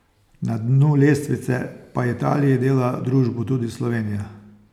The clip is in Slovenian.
Na dnu lestvice pa Italiji dela družbo tudi Slovenija.